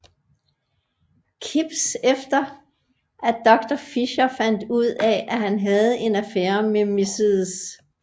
Kips efter at Doctor Fischer fandt ud af at han havde en affære med Mrs